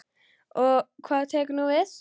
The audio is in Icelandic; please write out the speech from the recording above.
Og hvað tekur nú við?